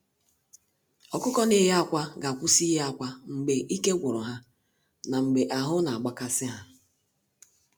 Ọkụkọ na-eye akwa ga-akwụsị ịye akwa mgbe ike gwuru ha na mgbe ahụ na-agba kasị ha.